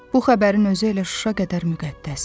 Bu xəbərin özü elə Şuşa qədər müqəddəsdir.